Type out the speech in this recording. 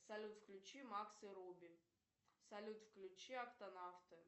салют включи макс и руби салют включи октанавты